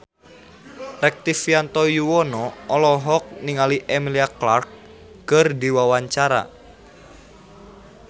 Rektivianto Yoewono olohok ningali Emilia Clarke keur diwawancara